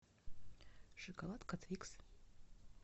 шоколадка твикс